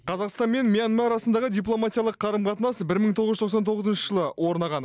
қазақстан мен мьянма арасындағы дипломатиялық қарым қатынас бір мың тоғыз жүз тоқсан тоғызыншы жылы орнаған